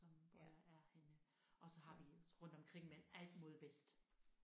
Som hvor jeg er henne og så har vi rundt omkring men alt mod vest